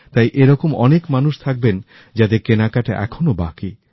তাই এরকম অনেক মানুষ থাকবেন যাঁদের কেনাকাটা এখনো বাকি